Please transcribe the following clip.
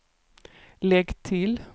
lägg till